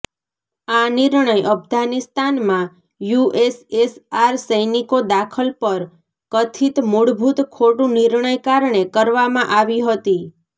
આ નિર્ણય અફઘાનિસ્તાનમાં યુએસએસઆર સૈનિકો દાખલ પર કથિત મૂળભૂત ખોટું નિર્ણય કારણે કરવામાં આવી હતી